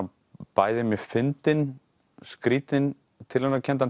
bæði mjög fyndinn skrýtinn